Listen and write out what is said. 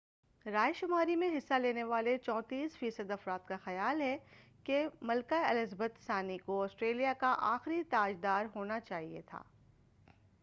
رائے شماری میں حصہ لینے والے 34 فی صد افراد کا خیال ہے کہ ملکہ الزابتھ ثانی کو آسٹریلیا کا آخری تاج دار ہونا چاہئے